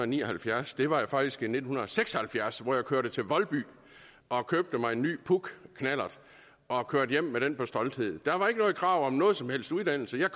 ni og halvfjerds det var faktisk i nitten seks og halvfjerds hvor jeg kørte til voldby og købte mig en ny puchknallert og kørte hjem på den med stolthed der var ikke noget krav om nogen som helst uddannelse jeg